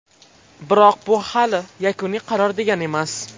Biroq bu hali yakuniy qaror degani emas.